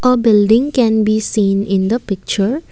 a building can be seen in the picture.